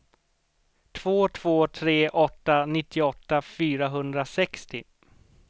två två tre åtta nittioåtta fyrahundrasextio